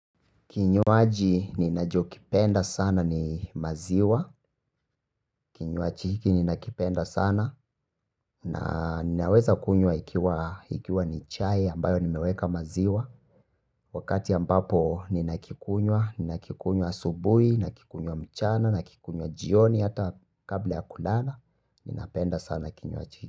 Kinywaji ninachokipenda sana ni maziwa, kinywaji kenye nakipenda sana na ninaweza kunywa ikiwa ikiwa ni chai ambayo nimeweka maziwa. Wakati ambapo ninakikunywa, ninakikunywa asubuhi, nakikunywa mchana, nakikunywa jioni hata kabla ya kulala, ninapenda sana. Kinywaji.